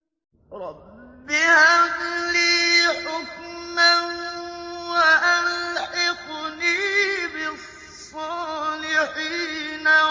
رَبِّ هَبْ لِي حُكْمًا وَأَلْحِقْنِي بِالصَّالِحِينَ